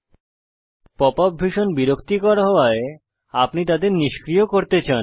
pop up ভীষণ বিরক্তিকর হওয়ায় আপনি তাদের নিষ্ক্রিয় করতে চান